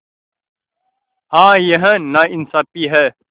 हाँ यह नाइंसाफ़ी है